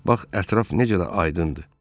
Bax ətraf necə də aydındır.